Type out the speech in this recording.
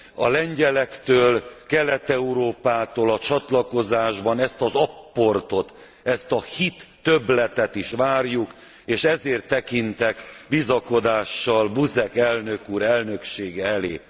A lengyelektől, Kelet Európától a csatlakozásban ezt az apportot, ezt a hittöbbletet is várjuk, és ezért tekintek bizakodással Buzek elnök úr elnöksége elé.